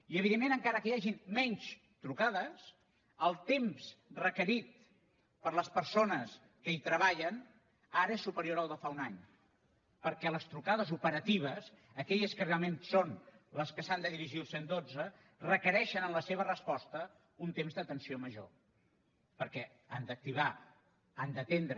i evidentment encara que hi hagin menys trucades el temps requerit per les persones que hi treballen ara és superior al de fa un any perquè les trucades operatives aquelles que realment són les que s’han de dirigir al cent i dotze requereixen en la seva resposta un temps d’atenció major perquè han d’activar han d’atendre